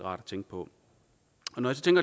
rart at tænke på når